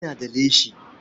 Ina da leshi.